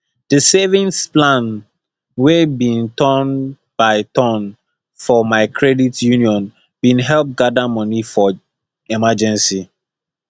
the savings plan wey be turn by turn for my credit union been help gather money for emergency